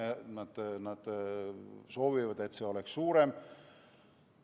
Nad soovivad, et see oleks suurem.